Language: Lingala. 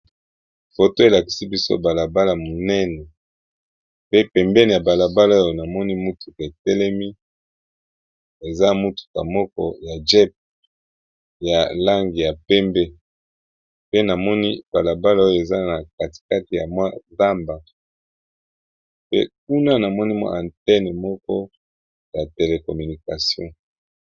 Foto elakisi biso bala bala monene pe pembeni ya bala bala oyo namoni mutuka etelemi eza mutuka moko ya jeep ya langi ya pembe, pe namoni bala bala oyo eza na kati kati ya mwa zamba pe kuna namoni mwa antenne moko ya telecommunication.